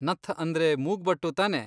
ನಥ್ ಅಂದ್ರೆ ಮೂಗ್ಬಟ್ಟು ತಾನೇ?